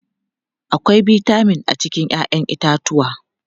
Akwai bitamin a cikin 'ya'yan itatuwa.